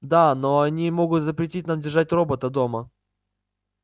да но они могут запретить нам держать робота дома